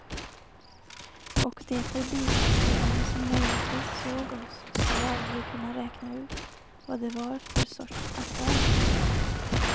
Och de förbipasserande som möjligtvis såg oss skulle aldrig kunna räkna ut vad det var för sorts affär vi gjort.